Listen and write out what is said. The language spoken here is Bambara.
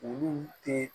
Olu tɛ